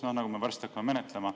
Varsti me hakkame seda menetlema.